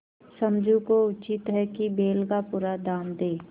समझू को उचित है कि बैल का पूरा दाम दें